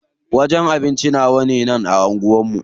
Wajen abinci nawane a anguwan nan?